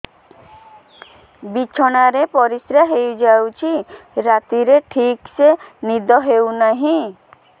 ବିଛଣା ରେ ପରିଶ୍ରା ହେଇ ଯାଉଛି ରାତିରେ ଠିକ ସେ ନିଦ ହେଉନାହିଁ